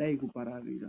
yadai kupararira.